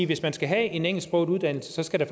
hvis man skal have en engelsksproget uddannelse så skal der